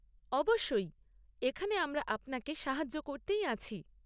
অবশ্যই! এখানে আমরা আপনাকে সাহায্য করতেই আছি।